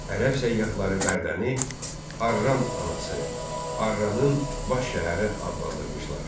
Ərəb səyyahları Bərdəni Arran anası, Arranın baş şəhəri adlandırmışlar.